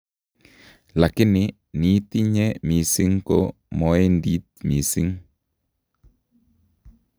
Lakini niitinye mising ko moendi mising